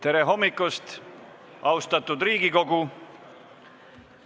Tere hommikust, austatud Riigikogu!